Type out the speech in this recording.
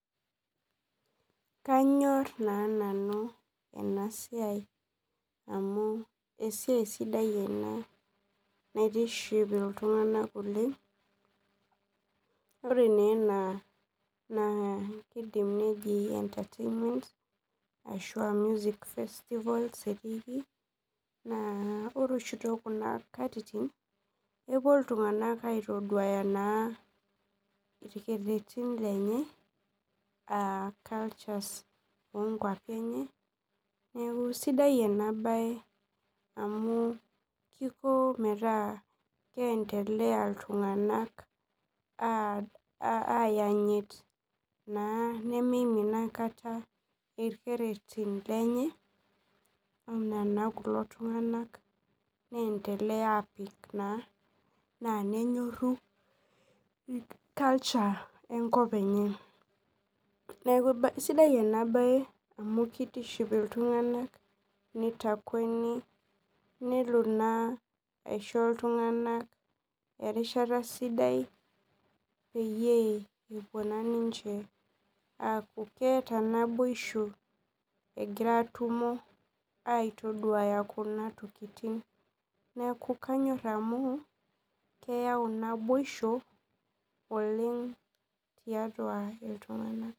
Kanyor na nanu enasiai amu esiaia sidai ena naitiship ltunganak oleng ore na ena kidim neji entertainment ashu a music festival ettiki na ore oshi tokuna katitin epuo ltunganak aktaduaya irkererin lenye neaku sidai enabae amu kiko metaa keendele ltunganak ayanyit na nimimin akata ilkererin lenye ana kulo tunganak niendelea apik na nenyoru culture enkop enyeneaku sidai ena bae amu kitiship ltunganak nitakueni nelo na aisho ltunganak erishata sidai peyieu epuo ninche aaku keeta naboisho egira atumo egira aitaduaya kuna tokitin neaku kanyor amu keyau naboisho oleng tiatua ltunganak.